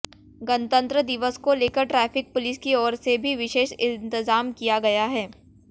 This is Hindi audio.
गणतंत्र दिवस को लेकर ट्रैफिक पुलिस की ओर से भी विशेष इंतजाम किया गया है